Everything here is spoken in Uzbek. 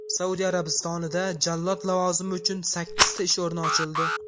Saudiya Arabistonida jallod lavozimi uchun sakkizta ish o‘rni ochildi.